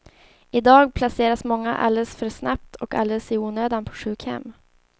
I dag placeras många alldeles för snabbt och alldeles i onödan på sjukhem.